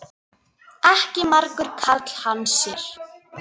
Ekki margur karl þann sér.